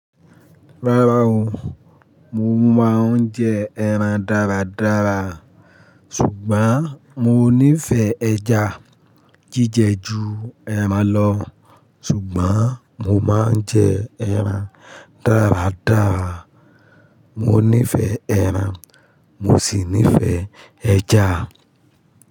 Rárá o, mo máa ń jẹ ẹran dáradára, ṣùgbọ́n mo nífẹ̀ẹ́ ẹja jíjẹ ju ẹran lọ ṣùgbọ́n mo máa ń jẹ ẹran dáradára. Mo nífẹ̀ẹ́ ẹran, mo sì nífẹ̀ẹ́ ẹja.